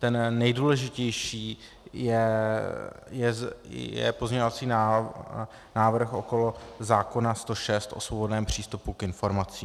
Ten nejdůležitější je pozměňovací návrh okolo zákona 106 o svobodném přístupu k informacím.